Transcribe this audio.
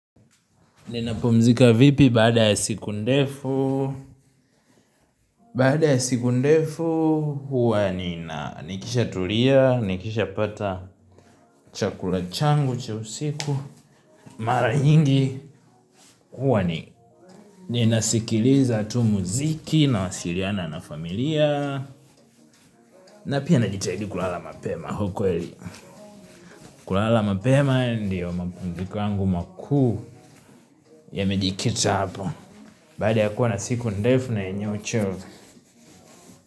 Ninapumzika vipi baada ya siku ndefu. Baada ya siku ndefu huwa nina nikishatulia, nikishapata chakula changu, cha usiku. Mara nyingi huwa ni ninasikiliza tu muziki nawasiliana na familia na pia najitahidi kulala mapema ukweli. Kulala mapema ndiyo mapumziko yangu makuu yamejikita hapo. Baada ya kuwa na siku ndefu na yenye uchovu.